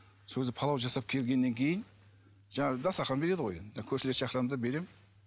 сол кезде палау жасап келгеннен кейін жаңағы дастархан береді ғой енді көршілерді шақырамын да беремін